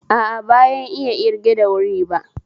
A a, bayan iya ƙirga da wuri ba